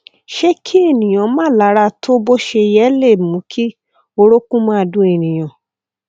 ṣé kí èèyàn má lára tó bó ṣe yẹ le mú kí orókún máa dun ènìyàn